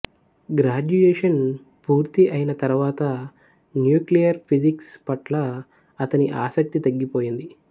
graduation పూర్తి అయిన తరువాత న్యూక్లియర్ ఫిజిక్స్ పట్ల అతని ఆసక్తి తగ్గిపోయింది